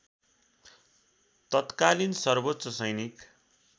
तत्कालीन सर्वोच्च सैनिक